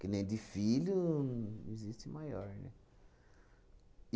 Que nem de filho não existe maior, né?